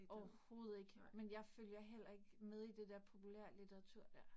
Overhovedet ikke. Men jeg følger heller ikke med i det der populærlitteratur der